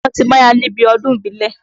Àrẹ̀mọ ti máya níbi ọdún ìbílẹ̀.